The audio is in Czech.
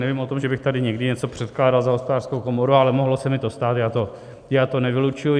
Nevím o tom, že bych tady někdy něco předkládal za Hospodářskou komoru, ale mohlo se mi to stát, já to nevylučuji.